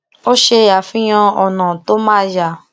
ó ṣe àfihàn ònà tó ma yá